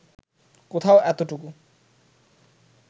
কোথাও এতটুকু